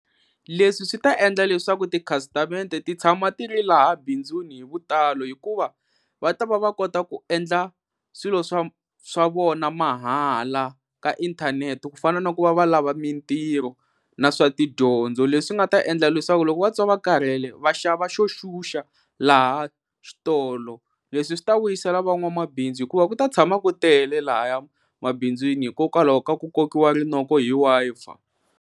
Leswi swi ta endla leswaku tikhasitamende ti tshama ti ri laha bindzuni hi vutalo hikuva va ta va va kota ku endla swilo swa swa vona mahala ka inthanete ku fana na ku va va lava mintirho na swa tidyondzo leswi nga ta endla leswaku loko vatwa va karhele va xava xo xuxa laha xitolo leswi swi ta vuyisela van'wamabindzu hikuva ku ta tshama ku tele lahaya emabindzwini hikokwalaho ka ku kokiwa rinoko hi Wi-Fi.